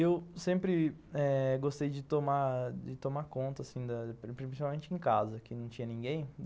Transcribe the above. Eu sempre eh gostei de tomar... de tomar conta, assim, principalmente em casa, que não tinha ninguém.